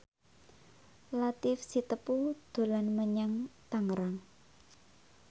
Latief Sitepu dolan menyang Tangerang